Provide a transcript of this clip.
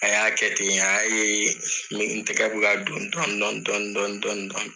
A y'a kɛ ten a y'a ye n tɛgɛ bɛ ka don dɔni dɔni dɔni dɔni dɔni